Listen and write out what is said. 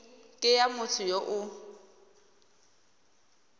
ke ya motho yo o